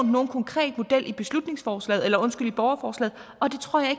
nogen konkret model i borgerforslaget og det tror jeg